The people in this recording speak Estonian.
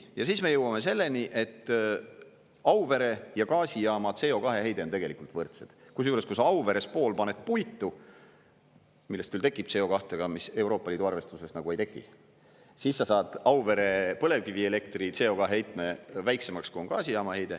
Ja siis me jõuame selleni, et Auvere ja gaasijaama CO2 heide on tegelikult võrdsed, kusjuures, kui sa Auveres pool paned puitu, millest küll tekib CO2, aga mis Euroopa Liidu arvestuses ei teki, siis sa saad Auvere põlevkivielektri CO2 heitme väiksemaks, kui on gaasijaama heide.